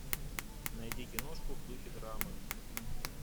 найди киношку в духе драмы